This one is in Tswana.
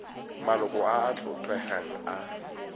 maloko a a tlotlegang a